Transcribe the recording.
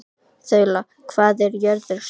Þula, hvað er jörðin stór?